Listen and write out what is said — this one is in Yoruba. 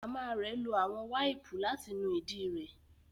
Mama rẹ lo awọn waipu lati nu idi re